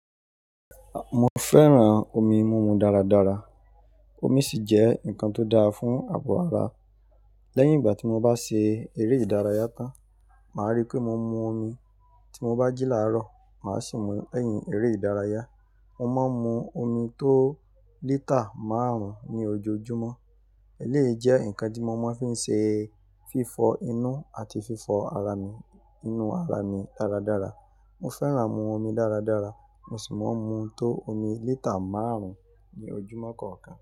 Mo fẹ́ràn omi múmu dáradára. Omi sì jẹ́ nǹkan tó dáa fún abọ́ ara. Lẹ́yìn ìgbà tí mo bá ṣe eré ìdárayá tán, màá rí pé mo mú omi. Tí mo bá jí làárọ̀, mà á sì mú lẹ́yìn eré ìdárayá. Mo máa ń mú omi tó lítà márùn-ún ní ojoojúmọ́. Èléyi jẹ́ nǹkan tí mo máa fi ń ṣe fífọ inú àti fífọ ara mi, inú ara mi dáradára. Mo fẹ́ràn mú omi dáradára, mo sì máa ń mú tó omi lítà márùn-ún ní ojúmọ́ kọ̀ọ̀kan.